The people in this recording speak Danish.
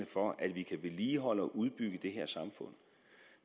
for at vi kan vedligeholde og udbygge det her samfund